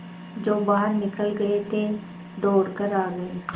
जो बाहर निकल गये थे दौड़ कर आ गये